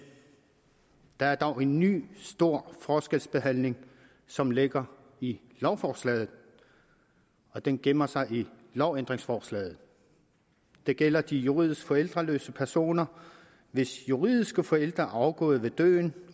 der er dog en ny stor forskelsbehandling som ligger i lovforslaget og den gemmer sig i lovændringsforslaget det gælder de juridisk forældreløse personer hvis juridiske forældre er afgået ved døden